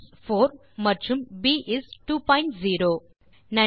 இந்த டியூட்டோரியல் ரசித்து இருப்பீர்கள் பயனுள்ளதாகவும் இருக்கும் என நம்புகிறேன்